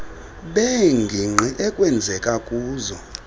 beengingqi ekwenzeka kuzo